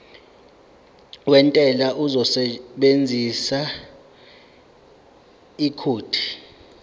wentela uzosebenzisa ikhodi